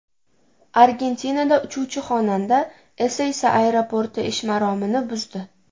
Argentinada uchuvchi-xonanda Eseysa aeroporti ish maromini buzdi.